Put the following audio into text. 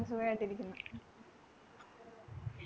സുഖായിട്ടിരിക്കുന്നു